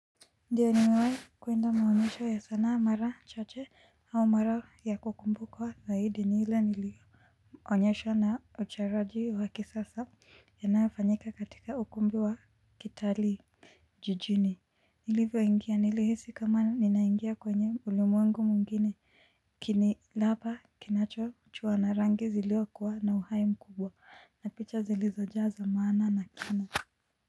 Ndio nimewahi kwenda maonyesho ya sanaa mara chache, au mara ya kukumbukwa zaidi ni ile nili onyesho na uchoraji wa kisasa yanayofanyika katika ukumbi wa kitalii. Jijini. Nilivyo ingia nilihisi kama ninaingia kwenye ulimwengu mwingine. Kini laba kinacho chua na rangi zilio kuwa na uhai mkubwa na picha zilizojazwa maana na kina.